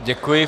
Děkuji.